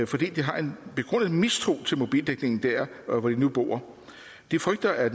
fordi de har en begrundet mistro til mobildækningen dér hvor de nu bor de frygter at